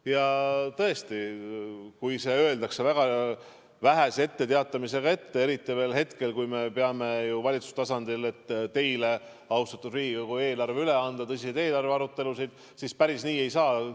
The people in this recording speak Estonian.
Ja tõesti, kui see öeldakse ette vähese etteteatamisega, eriti veel ajal, kui me peame valitsuse tasandil tõsiseid eelarvearutelusid, et eelarve teile, austatud Riigikogu, üle anda, siis päris nii ei saa.